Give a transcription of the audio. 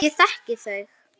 Ég þekki þau.